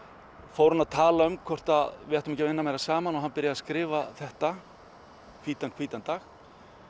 fór hann að tala um hvort við ættum ekki að vinna meira saman og hann byrjaði að skrifa þetta hvítan hvítan dag